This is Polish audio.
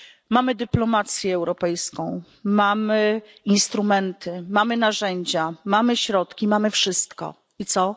Mamy dyplomację europejską, mamy instrumenty, mamy narzędzia, mamy środki, mamy wszystko i co?